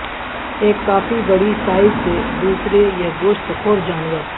ایک کافی بڑی سائز سے دوسرے یہ گوشت خور جانور